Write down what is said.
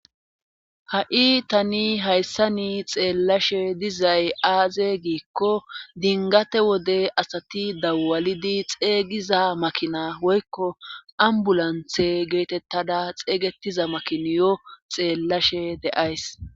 ha7i tani hayssani xeellashe dizay aaze giikko dingate wode asati dawalidi xeygiza makinaa woykko ambulanthe geetettada xeeygetiza makiniyo xeellashe deays